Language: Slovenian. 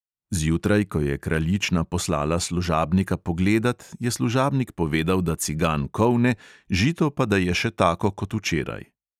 Zjutraj, ko je kraljična poslala služabnika pogledat, je služabnik povedal, da cigan kolne, žito pa da je še tako kot včeraj.